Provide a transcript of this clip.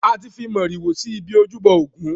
A ti fi màrìwò si ibi ojúbọ ògún.